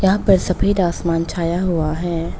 यहां पे सफेद आसमान छाया हुआ है।